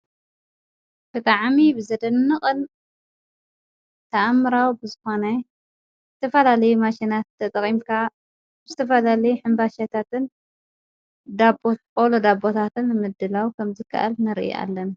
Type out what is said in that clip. ክጠዓሚ ብዘደኒቕን ተኣምራዊ ብዝኾነይ እትፈላል ማሽናት ተጠቒምካ ዝትፈላለይ ሕምባሸታትን ኦሎ ዳቦታትን ምድላው ከምዝከኣል ነርኢ ኣለና ::